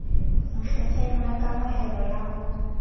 nkgetheng la kamohelo ya ho